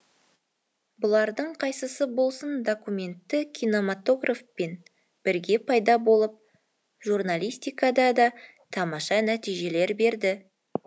бұлардың қайсысы болсын документті кинематографпен бірге пайда болып журналистикада да тамаша нәтижелер берді